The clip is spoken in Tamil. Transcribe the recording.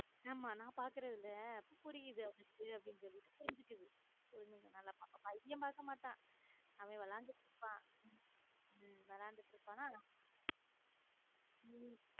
ஆமா நான் பாக்குறேன்ல புரியுது அவளுக்கு புரிஞ்சுகுது பையன் பார்க்க மாட்டான் அவன் விளையாட்டு கிட்டு இருப்பான் உம் விளையாடிட்டு இருபன்ன உம்